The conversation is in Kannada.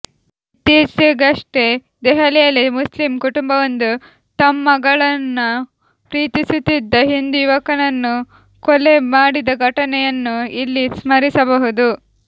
ಇತ್ತೀಚೆಗಷ್ಟೇ ದೆಹಲಿಯಲ್ಲಿ ಮುಸ್ಲಿಂ ಕುಟುಂಬವೊಂದು ತ್ಮ ಮಗಳನ್ನು ಪ್ರೀತಿಸುತ್ತಿದ್ದ ಹಿಂದು ಯುವಕನನ್ನು ಕೊಲೆ ಮಾಡಿದ ಘಟನೆಯನ್ನು ಇಲ್ಲಿ ಸ್ಮರಿಸಬಹುದು